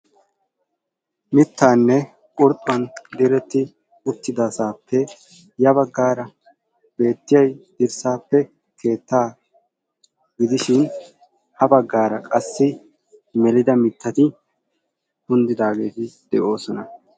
Mittaanne gurbban diretti utyidasaappe ya baggaara beettiyay dirsaappe keettaa gidishin ha baggaara qassi melida mittati kundidaageeti de"oosona.